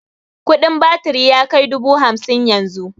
Kudin batiri yakai dubu hamsin yanzu